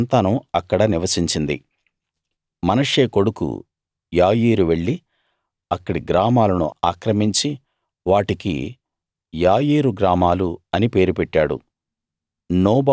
అతని సంతానం అక్కడ నివసించింది మనష్షే కొడుకు యాయీరు వెళ్లి అక్కడి గ్రామాలను ఆక్రమించి వాటికి యాయీరు గ్రామాలు అని పేరు పెట్టాడు